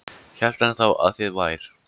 Hélt hann þá að þið vær